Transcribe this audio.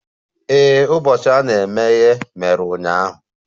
Ee, ụbọchị a na-emeghe mere ụnyaahụ